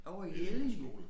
Ovre i Ellinge